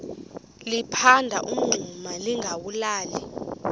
liphanda umngxuma lingawulali